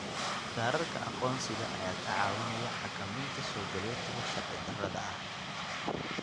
Kaadhadhka aqoonsiga ayaa kaa caawinaya xakamaynta soogalootiga sharci-darrada ah.